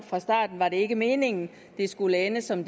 fra starten var det ikke meningen at det skulle ende som